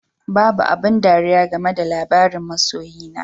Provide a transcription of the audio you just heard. Babu abin ɗariya game da labarin masoyi na